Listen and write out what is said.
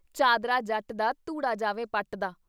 ਚਾਦਰਾ ਜੱਟ ਦਾ, ਧੂੜਾਂ ਜਾਵੇ ਪੱਟ ਦਾ।